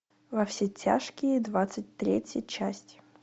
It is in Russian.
во все тяжкие двадцать третья часть